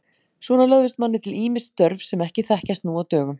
Svona lögðust manni til ýmis störf sem ekki þekkjast nú á dögum.